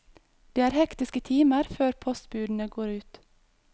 Det er hektiske timer før postbudene går ut.